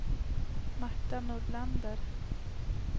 Marta Nordlander